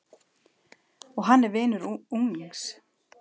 Og hann er vinur unglings.